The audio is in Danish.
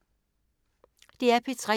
DR P3